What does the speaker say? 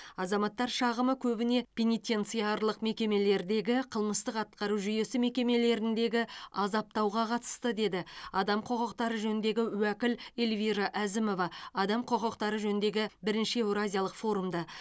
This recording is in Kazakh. азаматтар шағымы көбіне пенитенциарлық мекемелердегі қылмыстық атқару жүйесі мекемелеріндегі азаптауға қатысты деді адам құқықтары жөніндегі уәкіл эльвира әзімова адам құқықтары жөніндегі бірінші еуразиялық форумда